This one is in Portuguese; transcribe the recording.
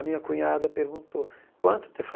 A minha cunhada perguntou, quanto